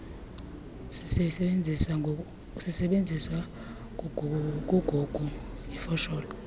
sisebenzisa kugug ifosholo